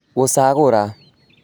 Gũcagũra